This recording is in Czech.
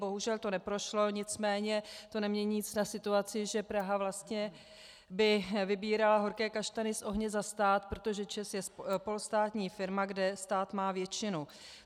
Bohužel to neprošlo, nicméně to nemění nic na situaci, že Praha vlastně by vybírala horké kaštany z ohně za stát, protože ČEZ je polostátní firma, kde stát má většinu.